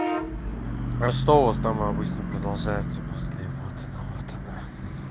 у что у вас вас там обычно продолжается после вот она вот она